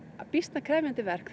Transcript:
býsna krefjandi verk